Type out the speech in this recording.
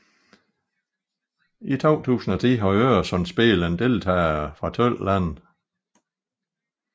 I 2010 havde Öresundsspelen deltagere fra tolv lande